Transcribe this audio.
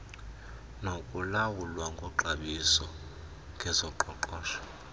nokulawulwa koxhobiso ngezoqoqosho